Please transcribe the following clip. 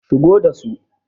shigo da su!